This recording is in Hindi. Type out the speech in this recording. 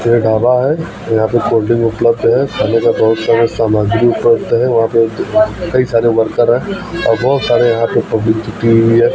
ये ढाबा है यहां पे कोल ड्रिंक उपलब्ध है खाने का बहोत सारा सामग्री उपलब्ध है वहां पे कई सारे वर्कर हैं और बहोत सारे यहां पे पब्लिक जुटी हुई है।